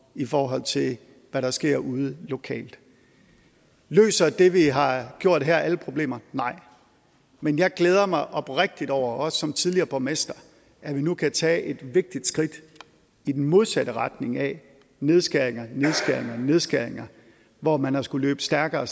i forhold til hvad der sker ude lokalt løser det vi har gjort her alle problemer nej men jeg glæder mig oprigtigt over også som tidligere borgmester at vi nu kan tage et vigtigt skridt i den modsatte retning af nedskæringer og nedskæringer hvor man har skullet løbe stærkere